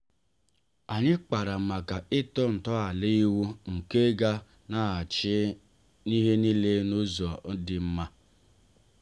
anyị kpara màkà ịtọ nto ala ịwụ nke ga-na achị n'ihe niile n'ụzọ dị mma.